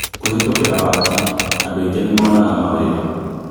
Kũhetũkĩra waaki, andũ aingīĩ nĩmonaga mawĩra